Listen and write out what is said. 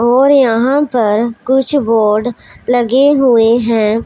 और यहां पर कुछ बोर्ड लगे हुए हैं।